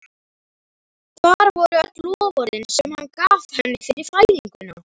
Hvar voru öll loforðin sem hann gaf henni fyrir fæðinguna?